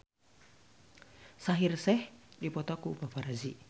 Shaheer Sheikh dipoto ku paparazi